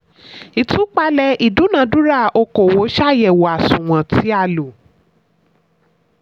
ìtúpalẹ̀ ìdúnadúrà okòwò: ṣàyẹ̀wò àsunwon tí a lò.